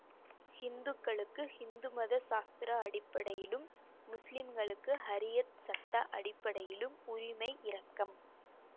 ஹிந்துக்களுக்கு ஹிந்துமத சாஸ்திர அடிப்படையிலும் முஸ்லிம்களுக்கு ஷரீஅத் சட்ட அடிப்படையிலும் உரிமை இறக்கம்